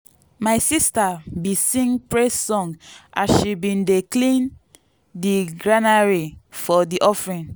my sister been sing praise song as she been dey clean di granary for di offering.